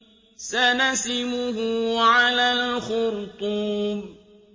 سَنَسِمُهُ عَلَى الْخُرْطُومِ